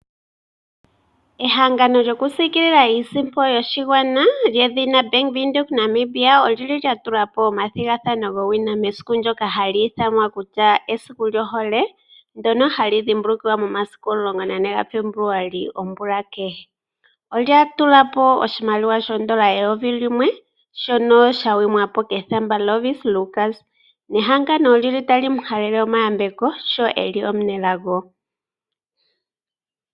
Ehangano lyokusiikilila iisimpo yoshigwana lyedhina Bank Windhoek Namibia oli li lya tula po omathigathano gowina mesiku ndyoka hali ithanwa kutya esiku lyohole, ndyono hali dhimbulukiwa momasiku 14 Febuluali omvula kehe. Olya tula po oshimaliwa shoondola eyovi limwe, shono sha sindanwa po kethamba Lovisa Lukas nehangano oli li tali mu halele omayambeko sho e li omunelago.